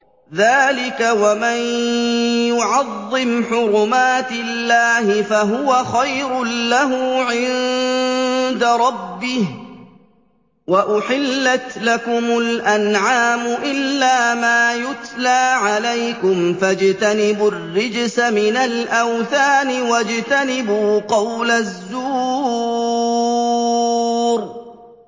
ذَٰلِكَ وَمَن يُعَظِّمْ حُرُمَاتِ اللَّهِ فَهُوَ خَيْرٌ لَّهُ عِندَ رَبِّهِ ۗ وَأُحِلَّتْ لَكُمُ الْأَنْعَامُ إِلَّا مَا يُتْلَىٰ عَلَيْكُمْ ۖ فَاجْتَنِبُوا الرِّجْسَ مِنَ الْأَوْثَانِ وَاجْتَنِبُوا قَوْلَ الزُّورِ